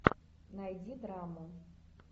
найди драму